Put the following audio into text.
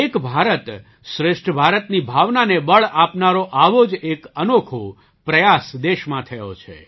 એક ભારત શ્રેષ્ઠ ભારતની ભાવનાને બળ આપનારો આવો જ એક અનોખો પ્રયાસ દેશમાં થયો છે